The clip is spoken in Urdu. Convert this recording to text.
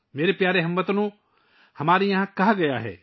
میرے پیارے ہم وطنو، ہم نے یہاں کہا ہے